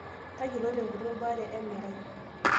Tayiolo tenguton baare emerai.